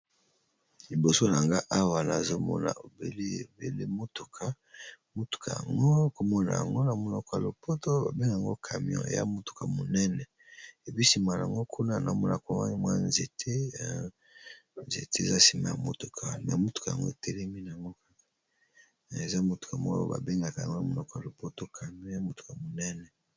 Liboso nga awa, na zomona obele motuka. Motuka yango, kombo na yango na monoko ya lopoto ba bengaka camion. Eya motuka monene. Epui, sima na yango kuna na mona mwa nzete. Nzete eza nsima ya motuka, me motuka yango etelemi na ngo. Eza motuka moko ba bengaka yango na monoko ya lopoto camion. Eya motuka monene.